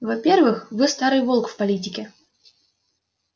во-первых вы старый волк в политике